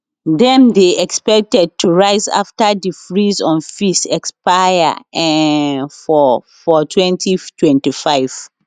dem dey expected to rise afta di freeze on fees expire um for for 2025